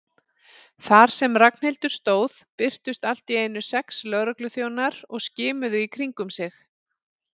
Þar sem Ragnhildur stóð birtust allt í einu sex lögregluþjónar og skimuðu í kringum sig.